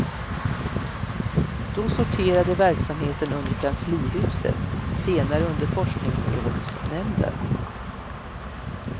Då sorterade verksamheten under kanslihuset, senare under forskningsrådsnämnden.